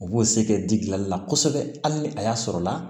U b'o se kɛ di gilali la kosɛbɛ hali ni a y'a sɔrɔ la